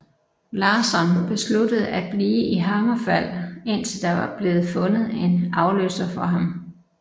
Larsson besluttede at blive i HammerFall indtil der var blevet fundet en afløser for ham